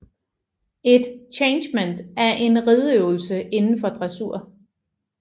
Et changement er en rideøvelse inden for dressur